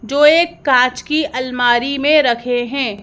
जो एक कांच की अलमारी में रखे हैं।